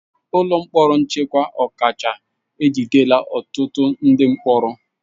Ụlọ mkpọrọ nchekwa ọkacha ejidela ọtụtụ ndị mkpọrọ.